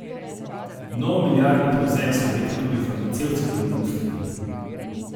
Nov milijardni prevzem se obeta tudi v farmacevtski industriji.